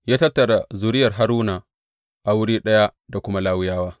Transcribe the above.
Ya tattara zuriyar Haruna a wuri ɗaya da kuma Lawiyawa.